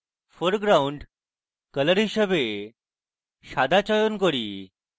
foreground colour হিসাবে সাদা চয়ন করি